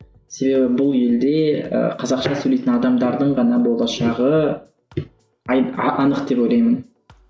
себебі бұл елде ы қазақша сөйлейтін адамдардың ғана болашағы анық деп ойлаймын